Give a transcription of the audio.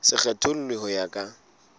se kgethollwe ho ya ka